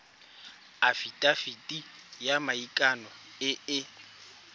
afitafiti ya maikano e e